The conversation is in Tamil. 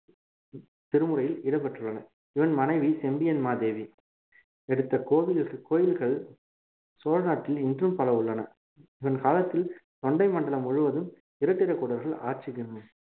திருமுறையில் இடம் பெற்றுள்ளன இவன் மனைவி செம்பியன் மாதேவி எடுத்த கோவிலுக்கு கோயில்கள் சோழ நாட்டில் இன்றும் பல உள்ளன இவன் காலத்தில் தொண்டை மண்டலம் முழுவதும் இராட்டிரகூடர்கள் ஆட்சிக்கு